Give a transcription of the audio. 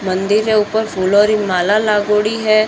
मंदिर है ऊपर फूला री माला लागोड़ी है।